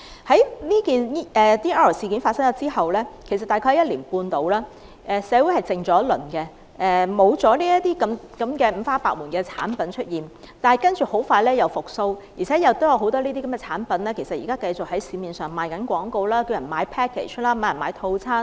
在 DR 事件發生後大約1年半，社會沉寂了一陣子，沒有再出現這些五花八門的產品，但接着很快又復蘇起來，而且現在很多產品繼續在市面賣廣告、叫人購買套餐。